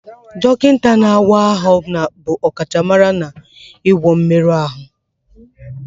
Dọkịta na-awa ahụ bụ ọkachamara n'ịgwọ mmerụ ahụ